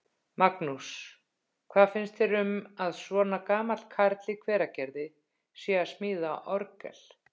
Magnús: Hvað finnst þér um að svona gamall karl í Hveragerði sé að smíða orgel?